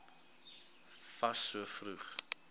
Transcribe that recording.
fas so vroeg